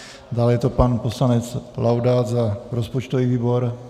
Dále je to pan poslanec Laudát za rozpočtový výbor.